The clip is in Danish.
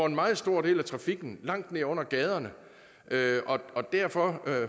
en meget stor del af trafikken langt ned under gaderne derfor derfor